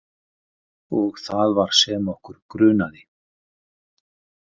Og það var sem okkur grunaði.